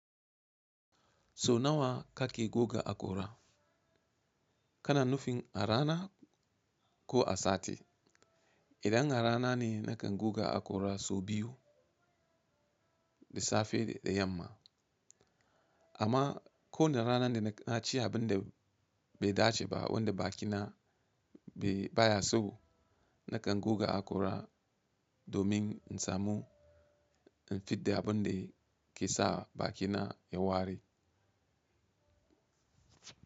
So nawa kake goga hakora? Kana nufin a rana ko a sati? Idan a rana ne nakan goga akora sau biyu, da safe da yamma. Amma ko da ranar da na ci abin da bai dace ba wanda bakina bai baya so, nakan goga akora domin in samu in fidda abin da ke sa bakina yayi wari.